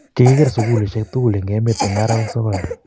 kikier sukulisiek tugul eng' emet eng' arawek sokol